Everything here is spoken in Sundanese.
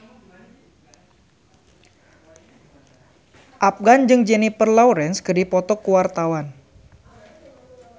Afgan jeung Jennifer Lawrence keur dipoto ku wartawan